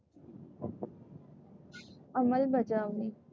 अंमलबजावणी.